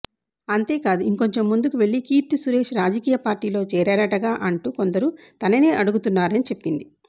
అంతే కాదు ఇంకొంచెం ముందుకెళ్లి కీర్తీసురేశ్ రాజకీయపార్టీలో చేరారటగా అంటూ కొందరు తననే అడుగుతున్నారని చెప్పింది